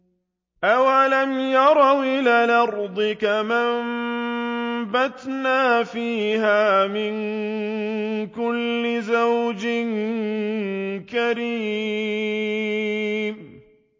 أَوَلَمْ يَرَوْا إِلَى الْأَرْضِ كَمْ أَنبَتْنَا فِيهَا مِن كُلِّ زَوْجٍ كَرِيمٍ